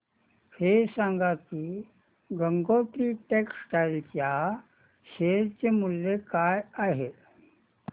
हे सांगा की गंगोत्री टेक्स्टाइल च्या शेअर चे मूल्य काय आहे